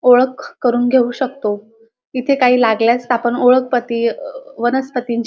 ओळख करून घेऊ शकतो इथे काही लागल्यास आपण ओळखपती अअ वनस्पतींची--